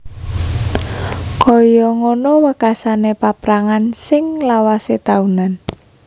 Kaya ngono wekasané paprangan sing lawasé taunan